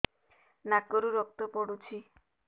ନାକରୁ ରକ୍ତ ପଡୁଛି